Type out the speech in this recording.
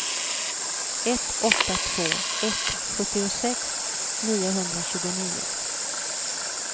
ett åtta två ett sjuttiosex niohundratjugonio